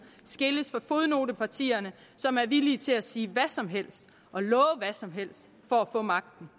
skilles fra fodnotepartierne som er villige til at sige hvad som helst og love hvad som helst for at få magten